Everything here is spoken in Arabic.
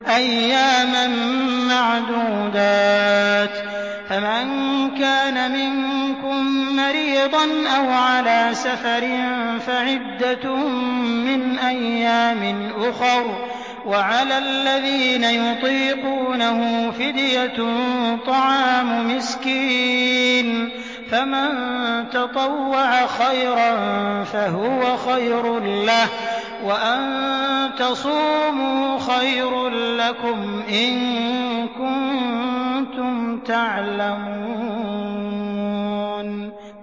أَيَّامًا مَّعْدُودَاتٍ ۚ فَمَن كَانَ مِنكُم مَّرِيضًا أَوْ عَلَىٰ سَفَرٍ فَعِدَّةٌ مِّنْ أَيَّامٍ أُخَرَ ۚ وَعَلَى الَّذِينَ يُطِيقُونَهُ فِدْيَةٌ طَعَامُ مِسْكِينٍ ۖ فَمَن تَطَوَّعَ خَيْرًا فَهُوَ خَيْرٌ لَّهُ ۚ وَأَن تَصُومُوا خَيْرٌ لَّكُمْ ۖ إِن كُنتُمْ تَعْلَمُونَ